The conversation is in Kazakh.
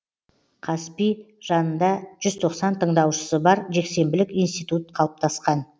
қазпи жанында жүз тоқсан тындаушысы бар жексенбілік институт қалыптасқан